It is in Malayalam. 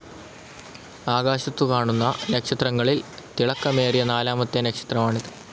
ആകാശത്തു കാണുന്ന നക്ഷത്രങ്ങളിൽ തിളക്കമേറിയ നാലാമത്തെ നക്ഷത്രമാണിത്.